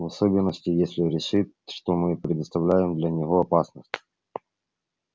в особенности если решит что мы предоставляем для него опасность